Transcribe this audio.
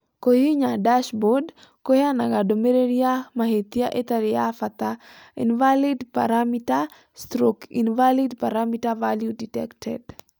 Kũhihinya "Dashboard" kũheanaga ndũmĩrĩri ya mahĩtia ĩtarĩ ya bata (‘invalidparameter / Invalid parameter value detected’).